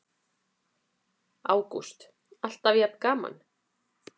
Ágúst: Alltaf jafn gaman?